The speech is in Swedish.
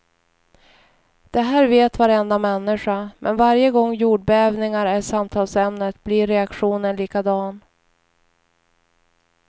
Det här vet varenda människa, men varje gång jordbävningar är samtalsämnet blir reaktionen likadan.